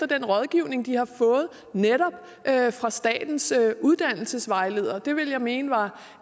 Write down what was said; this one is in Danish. den rådgivning de har fået netop fra statens uddannelsesvejleder det vil jeg mene er